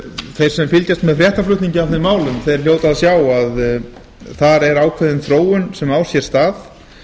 þeir sem fylgjast með fréttaflutningi af þeim málum hljóta að sjá að þar er ákveðin þróun sem á sér stað